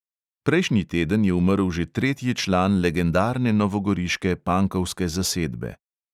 Prejšnji teden je umrl že tretji član legendarne novogoriške pankovske zasedbe.